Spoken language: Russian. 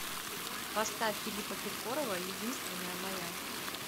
поставь филиппа киркорова единственная моя